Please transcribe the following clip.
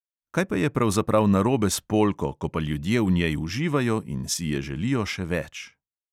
Kaj pa je pravzaprav narobe s polko, ko pa ljudje v njej uživajo in si je želijo še več?